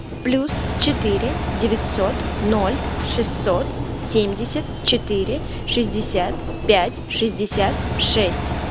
плюс четыре девятьсот ноль шестьсот семьдесят четыре шестьдесят пять шестьдесят шесть